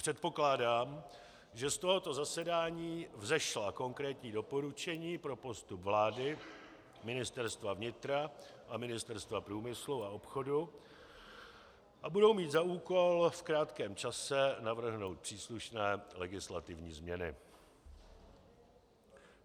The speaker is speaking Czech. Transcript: Předpokládám, že z tohoto zasedání vzešla konkrétní doporučení pro postup vlády, Ministerstva vnitra a Ministerstva průmyslu a obchodu a budou mít za úkol v krátkém čase navrhnout příslušné legislativní změny.